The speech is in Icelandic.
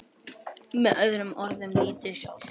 Með öðrum orðum lífið sjálft.